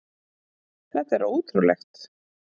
Þetta er ótrúlegt